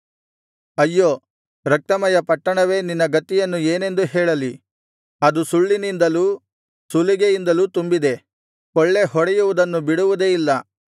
ಅಯ್ಯೋ ರಕ್ತಮಯ ಪಟ್ಟಣವೆ ನಿನ್ನ ಗತಿಯನ್ನು ಏನೆಂದು ಹೇಳಲಿ ಅದು ಸುಳ್ಳಿನಿಂದಲೂ ಸುಲಿಗೆಯಿಂದಲೂ ತುಂಬಿದೆ ಕೊಳ್ಳೆಹೊಡೆಯುವುದನ್ನು ಬಿಡುವುದೇ ಇಲ್ಲ